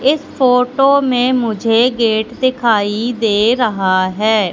इस फोटो में मुझे गेट दिखाई दे रहा है।